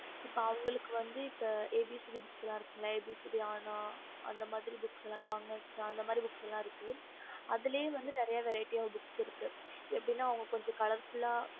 okey okey